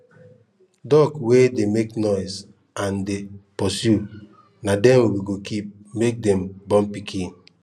duck wey dey make noise and dey pursue na them we go keep make them born pikin